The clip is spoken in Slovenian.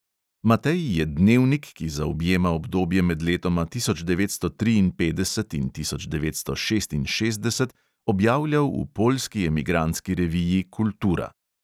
Matej je dnevnik, ki zaobjema obdobje med letoma tisoč devetsto triinpetdeset in tisoč devetsto šestinšestdeset, objavljal v poljski emigrantski reviji kultura.